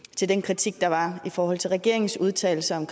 til den kritik der var i forhold til regeringens udtalelser om